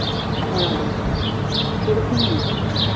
ভাড়া দাওয়া হয় সেরকমও আছে